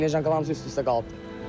Neşankaların hamısı üst-üstə qalıbdır.